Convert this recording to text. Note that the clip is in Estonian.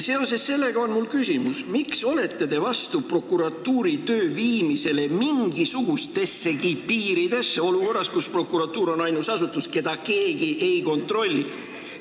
Seoses sellega on mul küsimus: miks olete te vastu prokuratuuri töö viimisele mingisugustessegi piiridesse olukorras, kus prokuratuur on ainus asutus, keda keegi ei kontrolli?